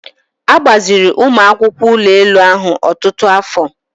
A gbaziri ụmụ akwụkwọ ụlọ elu ahụ ọtụtụ afọ.